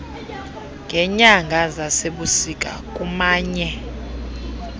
ngeenyanga zasebusika kumanye